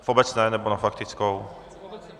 V obecné, nebo na faktickou?